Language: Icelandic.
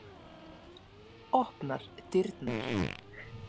Opnar dyrnar.